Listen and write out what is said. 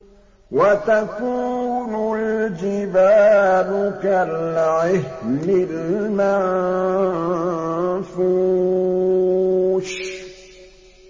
وَتَكُونُ الْجِبَالُ كَالْعِهْنِ الْمَنفُوشِ